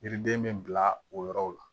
Yiriden bɛ bila o yɔrɔw la